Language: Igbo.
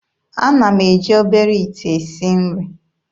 Ana m eji obere ite esi nri.